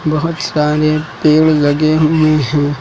बहुत सारे पेड़ लगे हुए हैं।